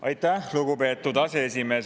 Aitäh, lugupeetud aseesimees!